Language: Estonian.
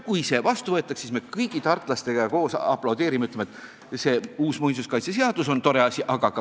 Kui see otsus vastu võetakse, siis me kõigi tartlastega koos aplodeerime ja ütleme, et uus muinsuskaitseseadus on tore asi.